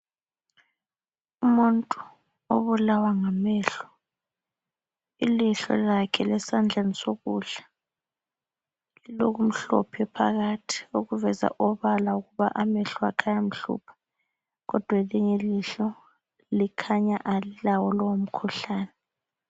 Umuntu obulawa ngamehlo. Ilihlo lakhe lesandleni sokudla lilokumhlophe phakathi okuveza obala ukuba amehlo akhe ayamhlupha kodwa elinye ilihlo likhanya alilawo lowo mkhuhlane.